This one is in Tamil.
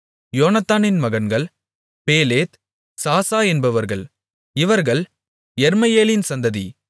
யோனத்தானின் மகன்கள் பேலேத் சாசா என்பவர்கள் இவர்கள் யெர்மெயேலின் சந்ததி